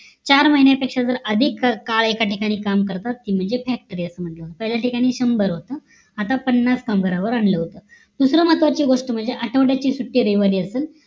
चार महिन्यापेक्षा जर अधिक काळ एका ठिकाणी काम करतात ते म्हणजे factory असं म्हंटल जात पहिल्या ठिकाणी शंभर होत आता पन्नास कामगारावर आणलं होतं दुसरा महत्वाची गोष्ट म्हणजे आठवड्याची सुट्टी रविवारी असेल